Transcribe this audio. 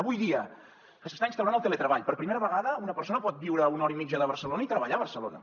avui dia que s’està instaurant el teletreball per primera vegada una persona pot viure a una hora i mitja de barcelona i treballar a barcelona